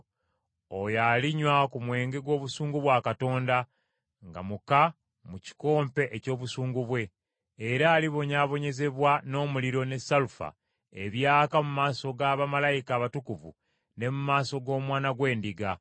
oyo alinywa ku nvinnyo y’obusungu bwa Katonda, nga muka mu kikompe eky’obusungu bwe. Era alibonyaabonyezebwa n’omuliro ne salufa ebyaka mu maaso ga bamalayika abatukuvu ne mu maaso g’Omwana gw’Endiga.